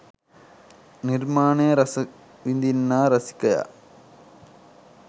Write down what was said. නිර්මාණය රස විඳින්නා රසිකයා